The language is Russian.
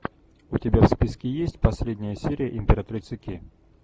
у тебя в списке есть последняя серия императрицы ки